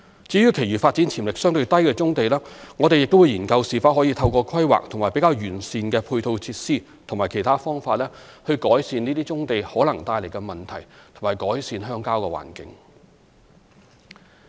至於其餘發展潛力相對低的棕地，我們亦會研究是否可透過規劃和較完善的配套設施及其他方法，改善這些棕地可能帶來的問題及改善鄉郊環境。